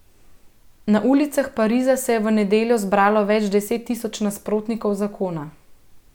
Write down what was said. Na ulicah Pariza se je v nedeljo zbralo več deset tisoč nasprotnikov zakona.